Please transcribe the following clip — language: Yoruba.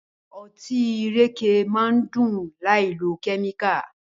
Ọtí ìrèké máá ń dùn láìlo kẹ́míkà.